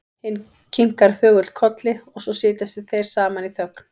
Hinn kinkar þögull kolli og svo sitja þeir saman í þögn.